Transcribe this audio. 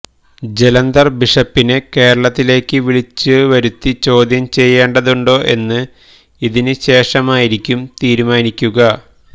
ജലന്തർ ബിഷപ്പിനെ കേരളത്തിലേക്ക് വിളിച്ച വരുത്തി ചോദ്യം ചെയ്യേണ്ടതുണ്ടോ എന്ന് ഇതിന് ശേഷമായിരിക്കും തീരുമാനിക്കുക